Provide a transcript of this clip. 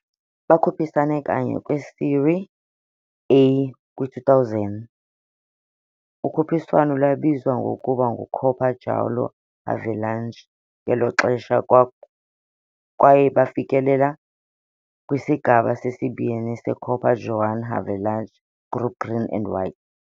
Bakhuphisane kanye kwi-Série A kwi-2000, ukhuphiswano lwabizwa ngokuba nguCopa João Havelange ngelo xesha, kwaye kwaye bafikelela kwiSigaba seSibini seCopa João Havelange Group Green and White.